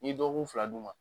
N'i ye dɔgɔkun fila d'u ma